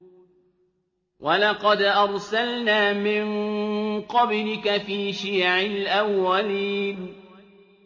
وَلَقَدْ أَرْسَلْنَا مِن قَبْلِكَ فِي شِيَعِ الْأَوَّلِينَ